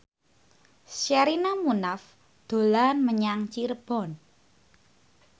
Sherina Munaf dolan menyang Cirebon